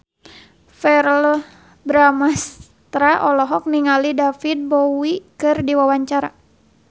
Verrell Bramastra olohok ningali David Bowie keur diwawancara